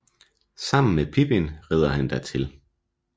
Sammen med Pippin rider han dertil